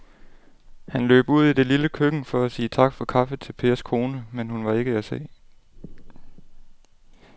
Han løb ud i det lille køkken for at sige tak for kaffe til Pers kone, men hun var ikke til at se.